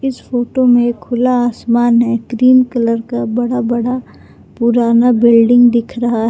इस फोटो में खुला आसमान है क्रीम कलर का बड़ा बड़ा पुराना बिल्डिंग दिख रहा है।